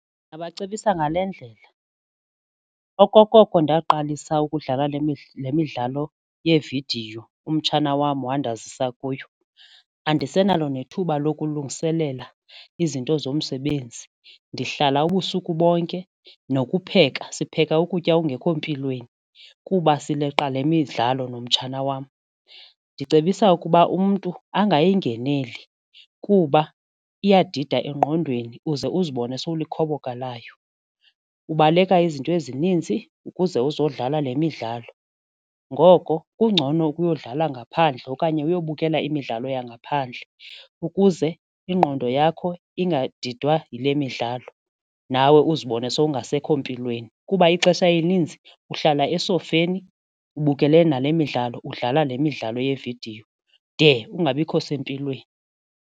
Ndingabacebisa ngale ndlela, okokoko ndaqalisa ukudlala le midlalo yevidiyo umtshana wam wandazisa kuyo andisenalo nethuba lokulungiselela izinto zomsebenzi ndihlala ubusuku bonke nokupheka sipheka ukutya okungekho mpilweni kuba sileqa le midlalo nomtshana wam, ndicebisa ukuba umntu angayingeneli kuba iyadida engqondweni uze uzibone sowulikhoboka layo ubaleka izinto ezininzi ukuze uzodlala le midlalo ngoko kungcono ukuyodlala ngaphandle okanye uyobukela imidlalo yangaphandle ukuze ingqondo yakho ngadidwa yile midlalo nawe uzibone sowungasekho mpilweni kuba ixesha elininzi uhlala esofeni ubukele nale midlalo udlala le midlalo yevidiyo de ungabikho sempilweni.